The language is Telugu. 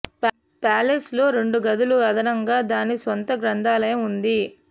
ప్యాలెస్ లో రెండు గదులు అదనంగా దాని స్వంత గ్రంథాలయం ఉంది